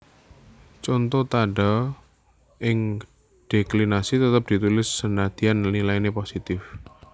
Conto Tandha ing déklinasi tetep ditulis senadyan nilainé positif